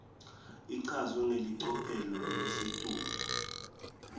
ichazwe ngelicophelo lelisetulu